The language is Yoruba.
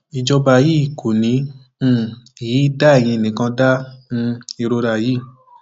ìjọba yìí kò ní um í dá eyín nìkan dá um ìrora yìí